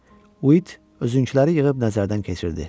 Uit özünküləri yığıb nəzərdən keçirdi.